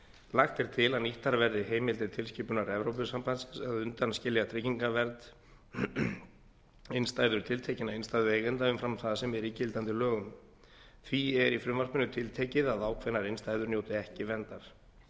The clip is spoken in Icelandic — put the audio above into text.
lagt er til að nýttar verði heimildir tilskipunar evrópusambandsins að undanskilja trygginga vernd innstæður tiltekinna innstæðueigenda umfram það sem er í gildandi lögum því er í frumvarpinu tiltekið að ákveðnar innstæður njóti ekki verndar